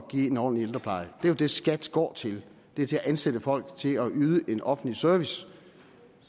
give en ordentlig ældrepleje det er jo det skat går til det er til at ansætte folk til at yde en offentlig service